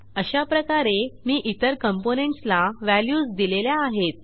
अशाप्रकारे मी इतर कॉम्पोनेंट्स ला व्हॅल्यूज दिलेल्या आहेत